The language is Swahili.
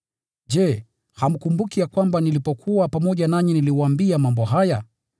Je, hamkumbuki ya kwamba nilipokuwa pamoja nanyi niliwaambia mambo haya?